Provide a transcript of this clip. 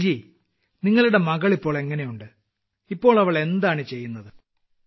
സുനിൽ ജി നിങ്ങളുടെ മകൾ ഇപ്പോൾ എങ്ങനെയുണ്ട് ഇപ്പോൾ അവൾ എന്താണ് ചെയ്യുന്നത്